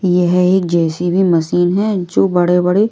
यह एक JCB machine है जो बड़े-बड़े--